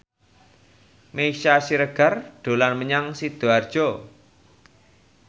Meisya Siregar dolan menyang Sidoarjo